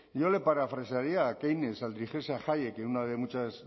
yo le parafrasearía a keynes al dirigirse a hayek en una de